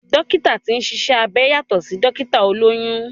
Dókítà tí ń ṣiṣẹ́ abẹ yàtọ̀ sí Dókítà olóyún